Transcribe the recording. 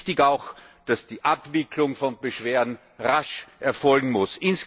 Wichtig ist auch, dass die Abwicklung von Beschwerden rasch erfolgen muss.